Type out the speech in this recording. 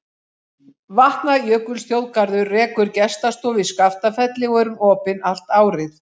Vatnajökulsþjóðgarður rekur gestastofu í Skaftafelli og er hún opin allt árið.